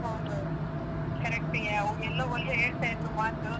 ಹೌದೌದು. correct ಯಾ. ಅವ್ರೆಲ್ಲಾ ಒಂದ್ ಹೇಳ್ತಾ ಇದ್ರು ಮಾತು.